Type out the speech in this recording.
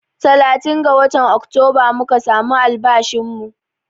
Talatin ga watan Oktoba muka samu albashin mu